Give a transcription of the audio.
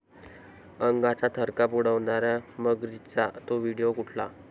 अंगाचा थरकाप उडवणाऱ्या मगरींचा 'तो' व्हिडिओ कुठला?